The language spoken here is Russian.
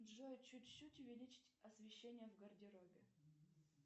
джой чуть чуть увеличить освещение в гардеробе